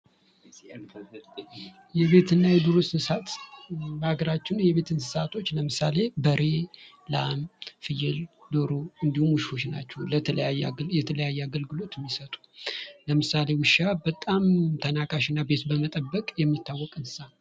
የቤትና የዱር እንስሳት በሀገራችን የቤት እንስሳቶች ለምሳሌ በሬ፥ ላም፥ ፍየል፥ እንዲሁም ውሾች ናቸው። የተለያዩ አገልግሎቶችን የሚሰጡ ፤ ለምሳሌ ውሻ በጣም ቤት በመጠበቅ የሚታወቅ እንስሳ ነው።